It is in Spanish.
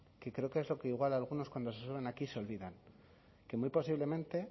que creo que es lo que igual algunos cuando se suben aquí se olvidan que muy posiblemente